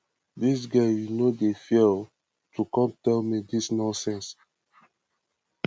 dis girl you no dey fear oo to come tell me dis nonsense